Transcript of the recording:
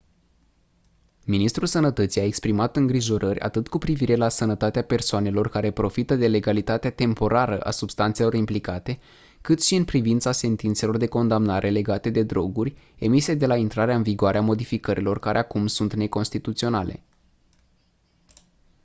ministrul sănătății a exprimat îngrijorări atât cu privire la sănătatea persoanelor care profită de legalitatea temporară a substanțelor implicate cât și în privința sentințelor de condamnare legate de droguri emise de la intrarea în vigoare a modificărilor care acum sunt neconstituționale